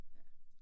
Ja